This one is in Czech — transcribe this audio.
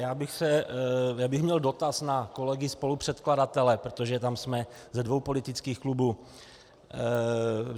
Já bych měl dotaz na kolegy spolupředkladatele, protože tam jsme ze dvou politických klubů.